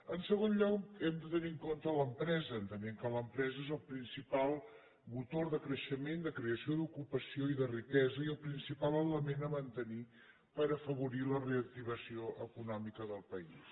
en segon lloc hem de tenir en compte l’empresa entenent que l’empresa és el principal motor de creixement de creació d’ocupació i de riquesa i el principal element a mantenir per afavorir la reactivació econòmica del país